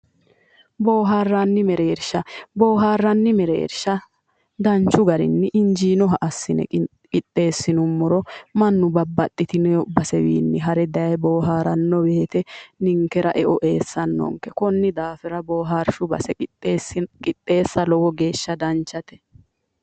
Boohaarranni mereersha boohaarranni mereershsha danchu garinni injiinoha assine qixxeessinummoro mannu babbaxxitino basewiinni hare daye boohaaranno woyte ninkera eo eessannonke konni daafira boohaarshu base qixxeessa owo geeshsha danchate